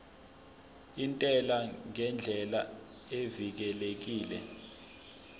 intela ngendlela evikelekile